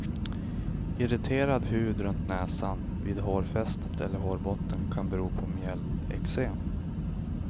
Irriterad hud runt näsan, vid hårfästet eller hårbotten kan bero på mjälleksem.